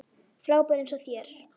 Frábær eins og þér.